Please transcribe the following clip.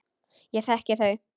Ég þekki þau.